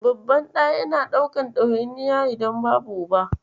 Babban ɗa yana ɗaukan ɗawainiya idan babu Uba.